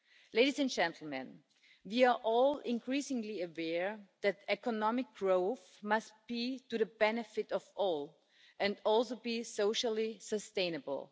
Ladies and gentlemen, we are all increasingly aware that economic growth must be to the benefit of all and must be socially sustainable.